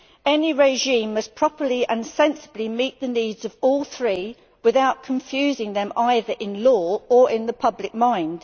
Any regime must properly and sensibly meet the needs of all three without confusing them either in law or in the public mind.